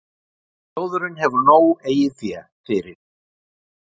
Sjóðurinn hefur nóg eigið fé fyrir